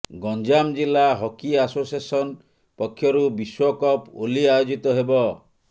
ଗଞ୍ଜାମଜିଲ୍ଲା hockey association ପକ୍ଷରୁ ବିଶ୍ୱକପ ଓଲି ଆୟୋଜିତ ହେବ